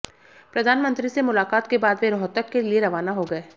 प्रधानमंत्री से मुलाकात के बाद वे रोहतक के लिए रवाना हो गए